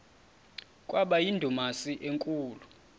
kwaba yindumasi enkulu